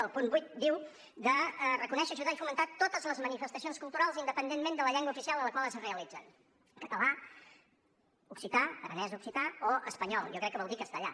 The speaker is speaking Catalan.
el punt vuit diu de reconèixer ajudar i fomentar totes les manifestacions culturals independentment de la llengua oficial en la qual es realitzen català occità aranès occità o espanyol jo crec que vol dir castellà